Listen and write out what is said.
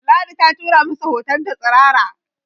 Ladi ta tura masa hotonta tsirara